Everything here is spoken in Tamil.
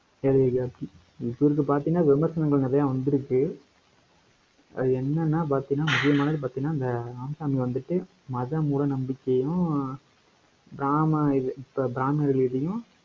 தெரியல இப்ப இங்க பார்த்தீங்கன்னா, விமர்சனங்கள் நிறைய வந்திருக்கு. அது என்னன்னா பாத்தீங்கன்னா, முக்கியமான பாத்தீங்கன்னா, இந்த ராமசாமி வந்துட்டு, மத மூடநம்பிக்கையும், பிராமணர் இதையும்,